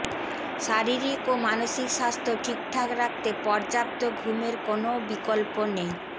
শারীরিক ও মানসিক স্বাস্থ্য ঠিকঠাক রাখতে পর্যাপ্ত ঘুমের কোনও বিকল্প নেই